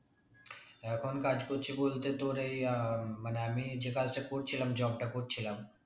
এখন কাজ করছি বলতে তোর এই আহ মানে আমি যেই কাজটা করছিলাম job টা করছিলাম